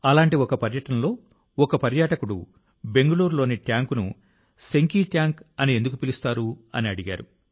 అలాంటి ఒక పర్యటనలో ఒక పర్యాటకుడు బెంగుళూరులోని ట్యాంక్ను సెంకి ట్యాంక్ అని ఎందుకు పిలుస్తారని అడిగారు